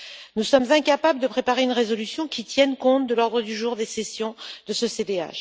Nous sommes incapables de préparer une résolution qui tienne compte de l'ordre du jour des sessions de ce CDH.